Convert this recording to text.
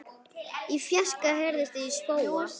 Í fjarska heyrist í spóa.